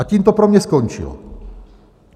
A tím to pro mě skončilo.